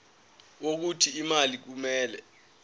wokuthi imali kumele